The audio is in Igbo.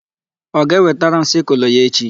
Ọ ga-ewetara m sịkụlụ ya echi?